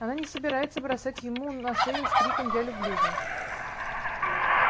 она не собирается бросать ему на шею с криком я люблю вас